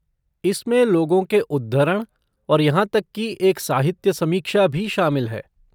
इसमें लोगों के उद्धरण और यहाँ तक कि एक साहित्य समीक्षा भी शामिल है।